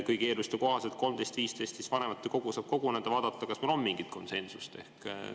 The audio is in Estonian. Kõigi eelduste kohaselt saab 13.15 vanematekogu koguneda ja vaadata, kas meil on mingit konsensust.